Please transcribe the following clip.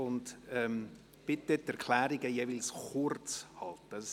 Ich bitte Sie, Erklärungen jeweils kurz zu halten.